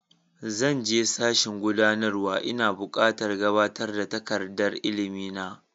Zan je sashin gudanarwa, ina buƙatar gabatar da takardar ilimi na.